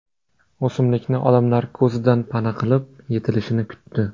O‘simlikni odamlar ko‘zidan pana qilib, yetilishini kutdi.